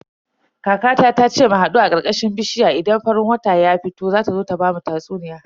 Kaka ta ce mu hadu a karkashin bishiya idan farin wata ya fito don ta zo ta bamu tatsuniya.